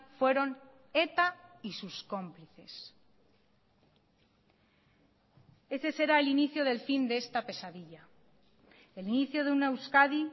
fueron eta y sus cómplices ese será el inicio del fin de esta pesadilla el inicio de una euskadi